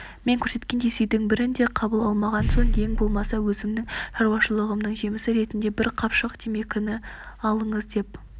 мен көрсеткен сыйдың бірін де қабыл алмаған соң ең болмаса өзімнің шаруашылығымның жемісі ретінде бір қапшық темекі алыңыз деп